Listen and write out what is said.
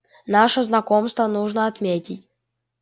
наше знакомство нужно отметить